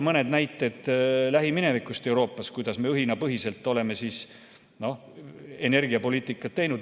Mõned näited Euroopa lähiminevikust, kuidas me õhinapõhiselt oleme energiapoliitikat teinud.